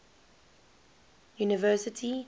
university